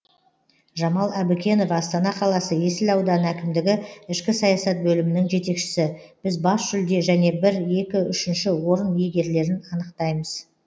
жамал әбікенова астана қаласы есіл ауданы әкімдігі ішкі саясат бөлімінің жетекшісі біз бас жүлде және бір екі үшінші орын иегерлерін анықтаймыз